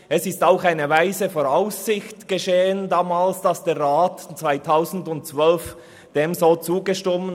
Der Grosse Rat hat diesem Ansinnen 2012 in weiser Voraussicht zugestimmt.